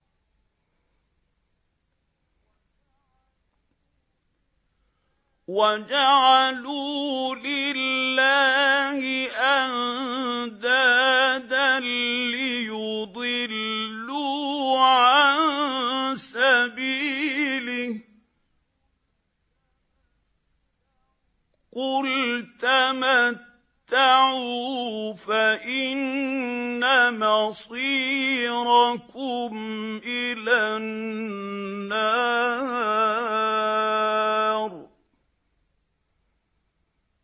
وَجَعَلُوا لِلَّهِ أَندَادًا لِّيُضِلُّوا عَن سَبِيلِهِ ۗ قُلْ تَمَتَّعُوا فَإِنَّ مَصِيرَكُمْ إِلَى النَّارِ